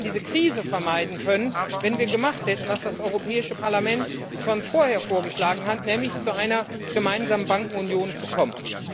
Und wir hätten diese Krise vermeiden können, wenn wir gemacht hätten, was das Europäische Parlament schon vorher vorgeschlagen hat, nämlich zu einer gemeinsamen Bankenunion zu kommen.